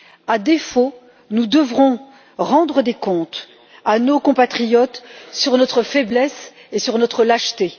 À défaut, nous devrons rendre des comptes à nos compatriotes sur notre faiblesse et sur notre lâcheté.